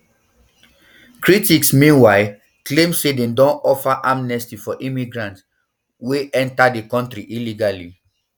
critics meanwhile claim say dem don offer amnesty for migrants we yenta di kontri illegally